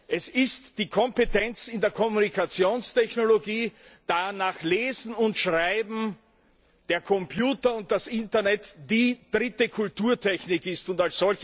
Es ist die Kompetenz in der Kommunikationstechnologie, da nach Lesen und Schreiben der Computer und das Internet die dritte Kulturtechnik sind.